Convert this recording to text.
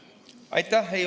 Aitäh!